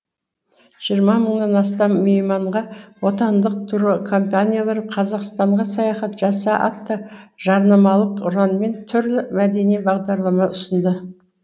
жиырма мыңнан астам мейманға отандық туркомпаниялар қазақстанға саяхат жаса атты жарнамалық ұранмен түрлі мәдени бағдарлама ұсынды